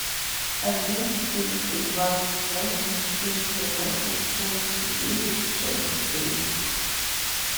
один четыреста двадцать восемь четыреста восемь семьдесят девять шесть три